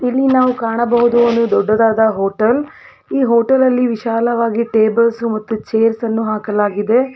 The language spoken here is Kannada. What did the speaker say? ಇಲ್ಲಿ ನಾವು ಕಾಣಬಹುದು ಒಂದು ದೊಡ್ಡದಾದ ಹೋಟೆಲ್ ಈ ಹೋಟೆಲ್ ಅಲ್ಲಿ ವಿಶಾಲವಾಗಿ ಟೇಬಲ್ಸ್ ಮತ್ತು ಚೇರ್ಸ್ ಅನ್ನು ಹಾಕಲಾಗಿದೆ.